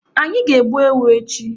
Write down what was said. Anyị ga- egbu ewu echi.